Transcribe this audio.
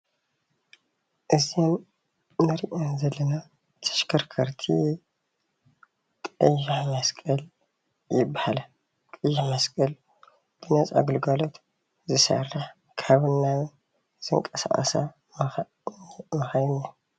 እዚአን ንሪአን ዘለና ተሽከርከቲ ቀይሕ መስቀል ይበሃላ ቀይሕ መስቀል ነፃ ግልጋሎት ዝሰርሕ ካብን ናብን ዝንቀሳቀሳ መካይን እየን ።